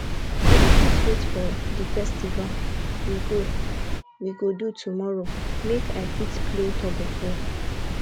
i no fit wait for the festival we go we go do tomorrow make i fit play tug of war